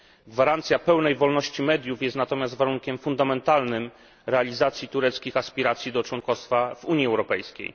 Gwarancja pełnej wolności mediów jest natomiast warunkiem fundamentalnym realizacji tureckich aspiracji do członkostwa w Unii Europejskiej.